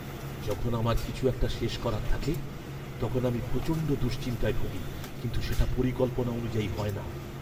যখন আমার কিছু একটা শেষ করার থাকে তখন আমি প্রচণ্ড দুশ্চিন্তায় ভুগি কিন্তু সেটা পরিকল্পনা অনুযায়ী হয় না!